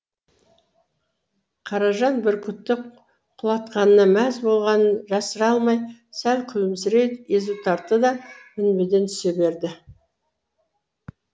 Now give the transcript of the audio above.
қаражан бүркітті құлатқанына мәз болғанын жасыра алмай сәл күлімсірей езу тартты да мінбеден түсе берді